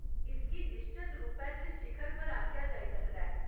इसगी निश्चत रूपै च शिखर पर आखेआ जाई सकदा ऐ।